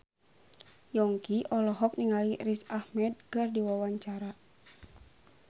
Yongki olohok ningali Riz Ahmed keur diwawancara